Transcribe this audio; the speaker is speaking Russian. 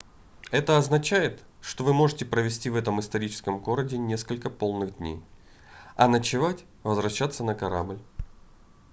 это означает что вы можете провести в этом историческом городе несколько полных дней а ночевать возвращаться на корабль